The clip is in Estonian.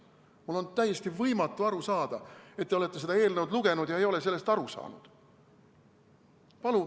Mul on täiesti võimatu aru saada, et te olete seda eelnõu lugenud ega ole sellest aru saanud.